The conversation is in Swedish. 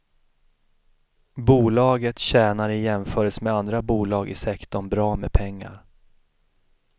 Bolaget tjänar i jämförelse med andra bolag i sektorn bra med pengar.